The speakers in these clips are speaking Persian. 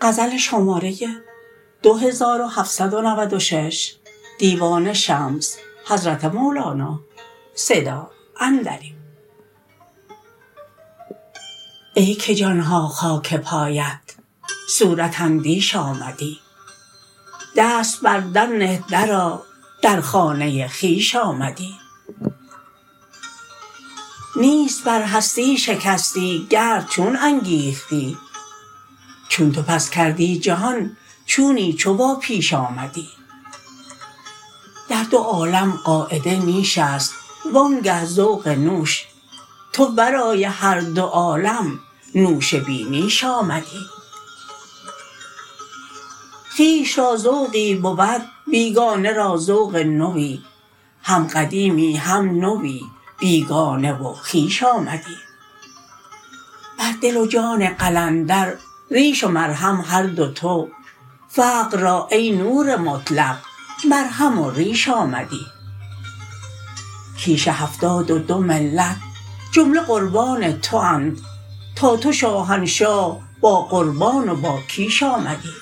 ای که جان ها خاک پایت صورت اندیش آمدی دست بر در نه درآ در خانه خویش آمدی نیست بر هستی شکستی گرد چون انگیختی چون تو پس کردی جهان چونی چو واپیش آمدی در دو عالم قاعده نیش است وآنگه ذوق نوش تو ورای هر دو عالم نوش بی نیش آمدی خویش را ذوقی بود بیگانه را ذوق نوی هم قدیمی هم نوی بیگانه و خویش آمدی بر دل و جان قلندر ریش و مرهم هر دو تو فقر را ای نور مطلق مرهم و ریش آمدی کیش هفتاد و دو ملت جمله قربان تواند تا تو شاهنشاه باقربان و باکیش آمدی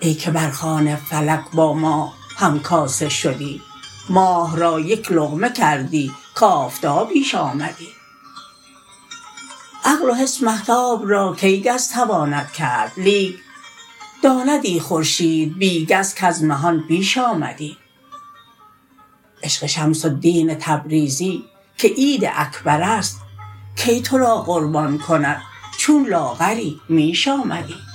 ای که بر خوان فلک با ماه همکاسه شدی ماه را یک لقمه کردی کآفتابیش آمدی عقل و حس مهتاب را کی گز تواند کرد لیک داندی خورشید بی گز کز مهان بیش آمدی عشق شمس الدین تبریزی که عید اکبر است کی تو را قربان کند چون لاغری میش آمدی